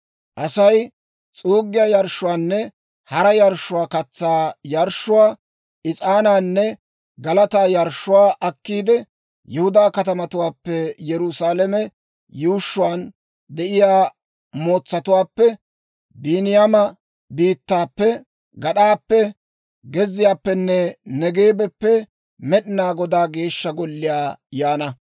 «‹ «Asay s'uuggiyaa yarshshuwaanne hara yarshshuwaa, katsaa yarshshuwaa, is'aanaanne galataa yarshshuwaa akkiide, Yihudaa katamatuwaappe, Yerusaalame yuushshuwaan de'iyaa mootsatuwaappe, Biiniyaama biittaappe, gad'aappe, gezziyaappenne Neegeebappe Med'inaa Godaa Geeshsha Golliyaa yaana.